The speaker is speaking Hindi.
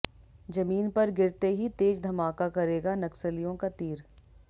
जमीन पर गिरते ही तेज धमाका करेगा नक्सलियों का तीर